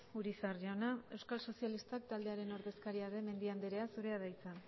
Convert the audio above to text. urizar jauna euskal sozialistak taldearen ordezkaria den mendia andrea zurea da hitza